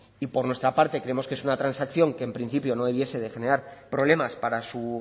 y por nuestra parte creemos que es una transacción que en principio no debiese de generar problemas para su